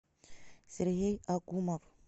сергей акумов